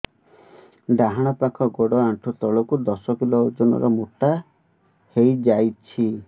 ଡାହାଣ ପାଖ ଗୋଡ଼ ଆଣ୍ଠୁ ତଳକୁ ଦଶ କିଲ ଓଜନ ର ମୋଟା ହେଇଯାଇଛି